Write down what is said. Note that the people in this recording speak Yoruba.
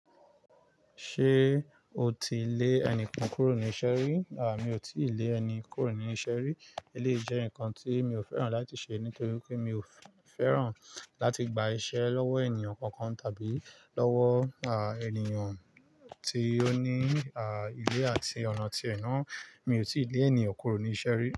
Ṣé o ti lé ẹni kan kúrò ní iṣẹ́ rí? À, mi ò tí ì lé ẹni kúrò ní iṣẹ́ rí. Eléyìí jẹ́ nǹkan tí mi ò fẹ́ràn láti ṣe nítorí pé mi ò fẹ́ràn láti gba iṣẹ́ lọ́wọ́ ènìyàn kankan tàbí lọ́wọ́, à, ènìyàn tí ó ní, à, ilé àti ọ̀nà tí ẹ ná. Mi ò tí ì lé ènìyàn kúrò ní iṣẹ́ rí.